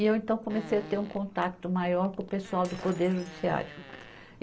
E eu então comecei a ter um contato maior com o pessoal do Poder Judiciário.